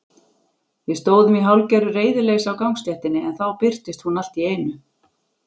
Við stóðum í hálfgerðu reiðileysi á gangstéttinni en þá birtist hún allt í einu.